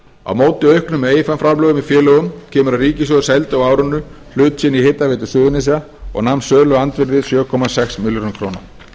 á móti auknum eiginfjárframlögum í félögum kemur að ríkissjóður seldi á árinu hlut sinn í hitaveitu suðurnesja og nam söluandvirðið sjö komma sex milljörðum króna